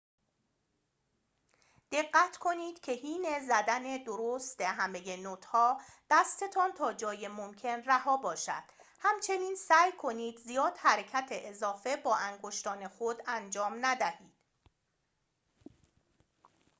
دقت کنید که حین زدن درست همه نوت‌ها دستتان تا جای ممکن رها باشد همچنین سعی کنید زیاد حرکت اضافه با انگشتان خود انجام ندهید